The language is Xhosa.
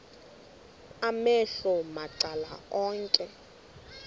amehlo macala onke